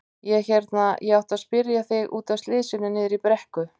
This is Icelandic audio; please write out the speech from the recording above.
Ég hérna. ég átti að spyrja þig. út af slysinu niðri í brekku.